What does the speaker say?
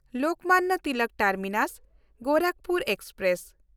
Lokmanya Tilak ᱴᱟᱨᱢᱤᱱᱟᱥ–ᱜᱳᱨᱟᱠᱷᱯᱩᱨ express